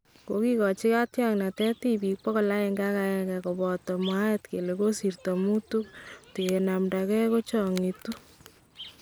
Kakikochi katyaknateet tibiik 101 kobatee mwaat kele kosirta muutu kotingenamdakee koo cheblongyaa